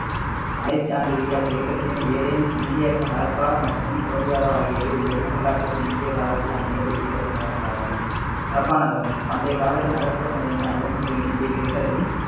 அலெக்சாந்திரியா கிரேக்கத்தின் ஏதேனும் இந்தியாவின் ஹரப்பா மற்றும் மொஹஞ்சதாரோ ஆகியவை உலகின் வரலாற்றுக்கு முந்தைய காலத்தில் அமைந்த குறிப்பிடத்தக்க நகரங்களாகும் ஹரப்பா நகரம் பண்டைய காலத்தில் நகர்ப்புறமையங்களின் அளவு மற்றும் எண்ணிக்கை கிரேக்கர்கள்